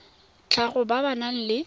tlhago ba ba nang le